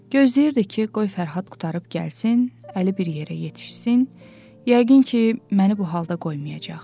Gözləyirdi ki, qoy Fərhad qurtarıb gəlsin, əli bir yerə yetişsin, yəqin ki, məni bu halda qoymayacaq.